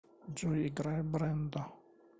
джой играй брэндо